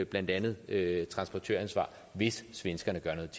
blandt andet transportøransvar hvis svenskerne gør noget